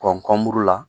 kɔnpori la